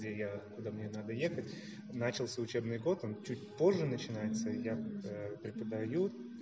где я куда мне надо ехать начался учебный год он чуть позже начинается и я преподаю